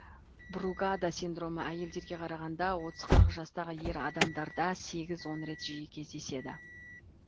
бругада синдромы әйелдерге қарағанда отыз қырық жастағы ер адамдарда сегіз он рет жиі кездеседі